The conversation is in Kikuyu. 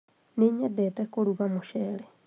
nĩnyendete kũrũga mũcere